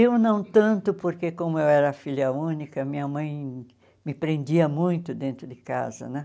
Eu não tanto, porque como eu era filha única, minha mãe me prendia muito dentro de casa, né?